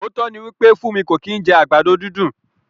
Ootọ ni wípé Funmi ko ki n jẹ àgbàdo dundun.